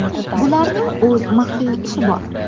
Bularning o‘z maxfiy ishi bor.